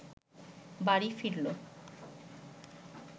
বাড়ি ফিরল